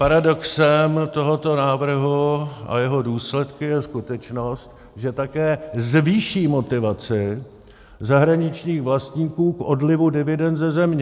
Paradoxem tohoto návrhu a jeho důsledkem je skutečnost, že také zvýší motivaci zahraničních vlastníků k odlivu dividend ze země.